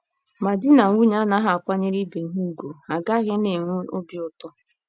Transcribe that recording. “ Ma di na nwunye anaghị akwanyere ibe ha ùgwù, ha agaghị na - enwe obi ụtọ.